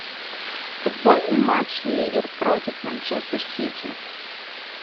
футбольный матч ливер против манчестер сити